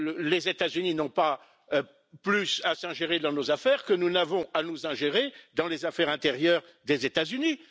Les États Unis n'ont pas plus à s'ingérer dans nos affaires que nous n'avons à nous ingérer dans les affaires intérieures des États Unis.